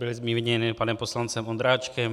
Byly zmíněny panem poslancem Ondráčkem.